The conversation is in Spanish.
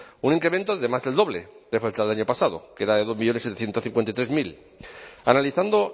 un incremento de más del doble de del año pasado que era de dos millónes setecientos cincuenta y tres mil analizando